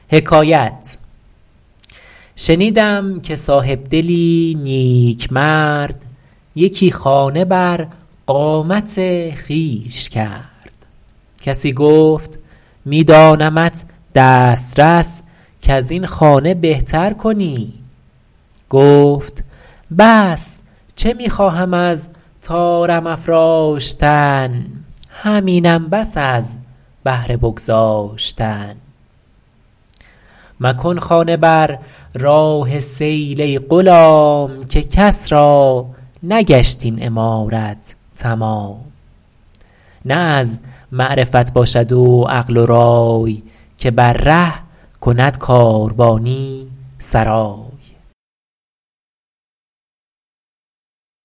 شنیدم که صاحبدلی نیکمرد یکی خانه بر قامت خویش کرد کسی گفت می دانمت دسترس کز این خانه بهتر کنی گفت بس چه می خواهم از طارم افراشتن همینم بس از بهر بگذاشتن مکن خانه بر راه سیل ای غلام که کس را نگشت این عمارت تمام نه از معرفت باشد و عقل و رای که بر ره کند کاروانی سرای